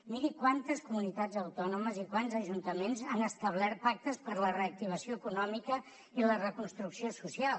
miri quantes comunitats autònomes i quants ajuntaments han establert pactes per a la reactivació econòmica i la reconstrucció social